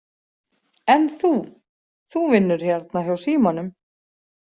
En þú, þú vinnur hérna hjá símanum?